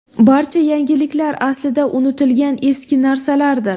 Barcha yangiliklar aslida unutilgan eski narsalardir.